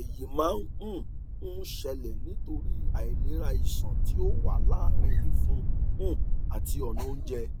èyí máa um ń ṣẹlẹ nítorí àìlera iṣan tí ó wà láàrin ìfun um àti ọnà oúnjẹ